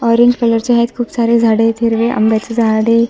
Orange colour चे आहेत खूप सारे झाडं आहेत हिरवे आंब्याचे झाड आहे.